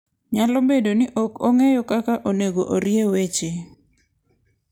Nyalo bedo ni ok ong'eyo kaka onego orie weche.